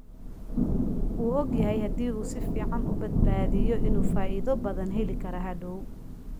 Wuu ogyahay haddii uu si fiican u badbaadiyo, inuu faa'iido badan heli karo hadhow.